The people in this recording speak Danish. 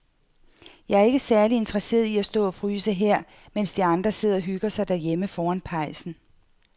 Jeg er ikke særlig interesseret i at stå og fryse her, mens de andre sidder og hygger sig derhjemme foran pejsen.